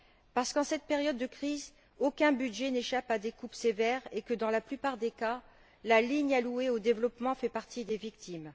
Parce qu'en cette période de crise, aucun budget n'échappe à des coupes sévères et que, dans la plupart des cas, la ligne allouée au développement fait partie des victimes.